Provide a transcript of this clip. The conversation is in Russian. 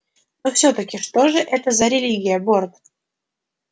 но всё-таки что же это за религия борт